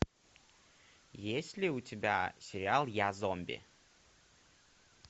есть ли у тебя сериал я зомби